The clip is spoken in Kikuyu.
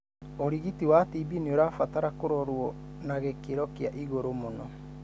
ũrigiti wa TB ni ũrabatara kũrorwo na gĩkĩro kia igũrũ muno.